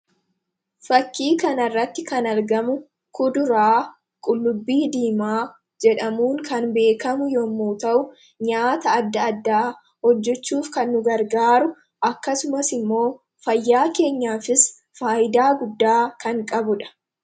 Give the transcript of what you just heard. Suuraa kanaa gadii irratti kan argamu kuduraa qullubbii diimaa jedhamuu dha. Nyaata addaa addaa hojjechuuf kan nu gargaaruu fi fayyaa keenyaafis faayidaa kan qabuu dha.